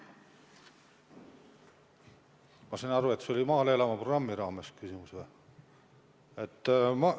Ma saan aru, et see küsimus oli mõeldud esitada "Maale elama!" programmiga seoses.